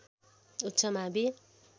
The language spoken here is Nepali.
उच्च मावि